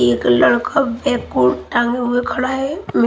एक लड़का बैग उर टांगे हुए खड़ा है --